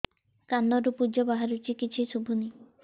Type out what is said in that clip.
କାନରୁ ପୂଜ ବାହାରୁଛି କିଛି ଶୁଭୁନି